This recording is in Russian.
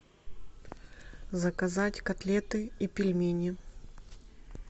заказать котлеты и пельмени